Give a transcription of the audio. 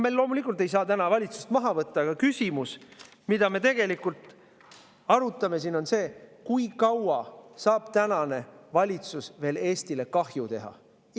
Me loomulikult ei saa täna valitsust maha võtta, aga küsimus, mida me tegelikult arutame siin, on see: kui kaua saab tänane valitsus veel Eestile kahju teha?